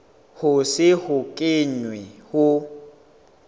ho se ho kenwe ho